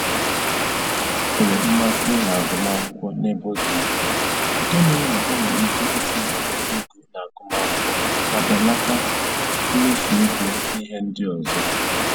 O nwere mmasị na-agụmakwụkwọ n'ebe ọ dị ukwuu nke mere na o nwere ike itinye nnukwu ego n'agụmakwụkwọ ma belata mmefu ego n'ihe ndị ọzọ